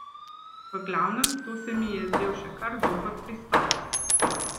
V glavnem, to se mi je zdel še kar dober pristop.